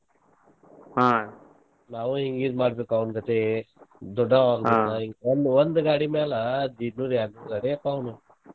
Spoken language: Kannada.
ನಾವು ಏನ ಮಾಡಬೇಕ ಅವನಗತೆ ದೊಡ್ಡವರಾದಿಂದ ಒಂದ್ ಒಂದ್ ಗಾಡಿ ಮ್ಯಾಲ ದೀಡ ನೂರ ಯ್ಯಾಡ ನೂರ ಗಾಡಿ ಆಕ್ಕಾವ ಅವ್ನು .